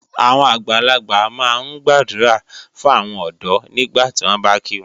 Àwọn àgbàlagbà máa ń gbàdúrà fún àwọn ọ̀dọ́ nígbàtí wọ́n bá kí wọn.